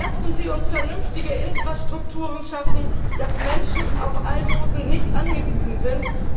Lassen Sie uns vernünftige Infrastrukturen schaffen, damit Menschen nicht auf Almosen angewiesen sind.